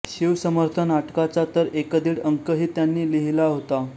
शिवसमर्थ नाटकाचा तर एकदीड अंकही त्यांनी लिहिला होता